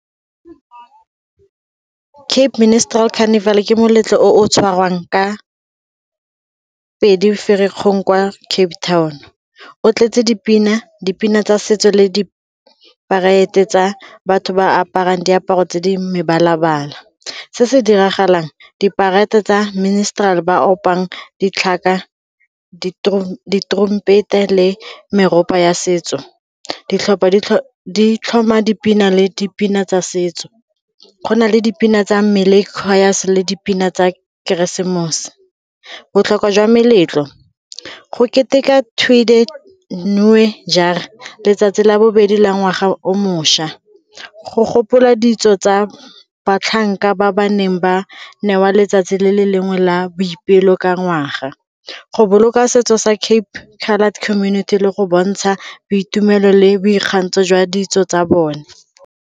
Cape Ministrel Carnival-e ke moletlo o o tshwarwang ka pedi, Ferikgong kwa Cape Town. O tletse dipina, dipina tsa setso le di-parade tsa batho ba aparang diaparo tse di mebala-bala. Se se diragalang, diparete tsa Ministrel ba opang ditlhaka, ditorompete le meropa ya setso ditlhopha di tlhoma dipina le dipina tsa setso. Go na le dipina tsa le dipina tsa keresemose. Botlhokwa jwa meletlo, go keteka Tweede Nuwe Jaar letsatsi la bobedi la ngwaga o mošwa go gopola ditso tsa batlhanka ba ba neng ba newa letsatsi le le lengwe la boipelo ka ngwaga, go boloka setso sa cape coloured community le go bontsha boitumelo le boikgantsho jwa ditso tsa bone.